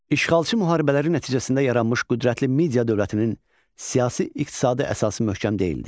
İşğalçı müharibələr nəticəsində yaranmış qüdrətli Media dövlətinin siyasi-iqtisadi əsası möhkəm deyildi.